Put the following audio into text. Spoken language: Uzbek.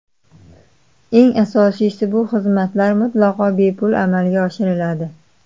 Eng asosiysi, bu xizmatlar mutlaqo bepul amalga oshiriladi.